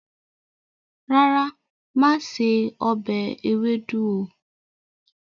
Rárá, máa ṣe ọbẹ̀ ewédú o.